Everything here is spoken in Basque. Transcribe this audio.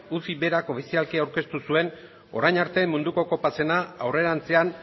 uci berak ofizialki aurkeztu zuen orain arte munduko kopa zena aurrerantzean